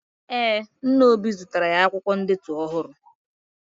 Ee, nna obi zụtara ya akwụkwọ ndetu ọhụrụ.